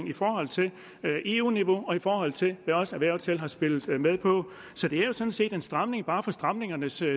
i forhold til eu niveauet og i forhold til hvad også erhvervet selv har spillet med på så det er jo sådan set en stramning bare for stramningens